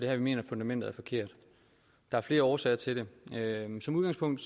her vi mener at fundamentet er forkert der er flere årsager til det som udgangspunkt